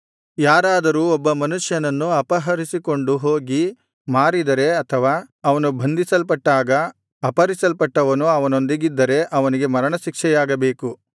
ಯಾರಾದರೂ ಒಬ್ಬ ಮನುಷ್ಯನನ್ನು ಅಪಹರಿಸಿಕೊಂಡು ಹೋಗಿ ಮಾರಿದರೆ ಅಥವಾ ಅವನು ಬಂಧಿಸಲ್ಪಟ್ಟಾಗ ಅಪಹರಿಸಲ್ಪಟ್ಟವನು ಅವನೊಂದಿಗಿದ್ದರೆ ಅವನಿಗೆ ಮರಣಶಿಕ್ಷೆಯಾಗಬೇಕು